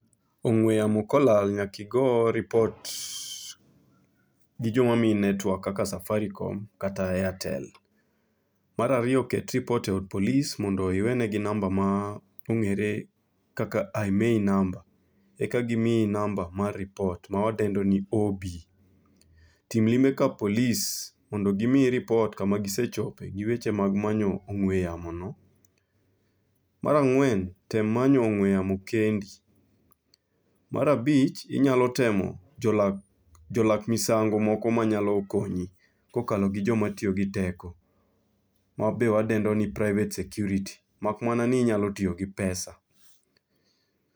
Ong'we yamo kolal nyaki go ripot gi joma miyi netwak kaka Safaricom kata Airtel. Marariyo ket ripot e od polis mondo iwene gi namba ma ong'ere kaka IMEI number, eka gimiyi namba mar ripot ma wadendo ni OB. Tim limbe ka polis mondo gimiyi ripot kama gisechope gi weche mag manyo ong'we yamo no. Marang'wen, tem manyo ong'we yamo kendi. Marabich, inyalo temo jolak jolak misango moko ma nyalo konyi. Kokalo gi joma tiyo gi teko, ma be wadendo ni private security, mak mana ni inyalo tiyo gi pesa.